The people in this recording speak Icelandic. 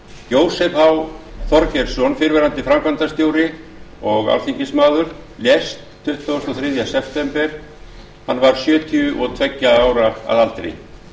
jósef h þorgeirsson fyrrverandi framkvæmdarstjóri og alþingismaður lést tuttugasta og þriðja september hann var sjötíu og tveggja ára að aldri